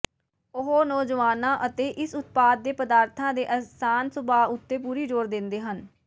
ਉਹ ਨੌਜਵਾਨਾਂ ਅਤੇ ਇਸ ਉਤਪਾਦ ਦੇ ਪਦਾਰਥਾਂ ਦੇ ਆਸਾਨ ਸੁਭਾਅ ਉੱਤੇ ਪੂਰੀ ਜ਼ੋਰ ਦਿੰਦੇ ਹਨ